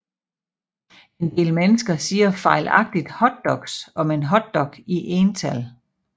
En del mennesker siger fejlagtigt hotdogs om en hotdog i ental